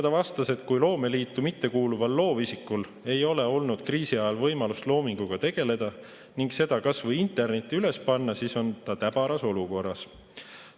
Ta vastas, et kui loomeliitu mittekuuluval loovisikul ei ole olnud kriisi ajal võimalust loominguga tegeleda ning seda kas või internetti üles panna, siis on ta täbaras olukorras.